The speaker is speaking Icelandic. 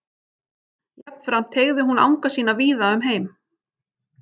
Jafnframt teygði hún anga sína víða um heim.